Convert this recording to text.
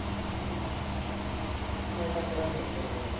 ਹਜੇ ਤੱਕ ਤਾਂ ਸੋਚਿਆ ਨੀ ਯਾਰ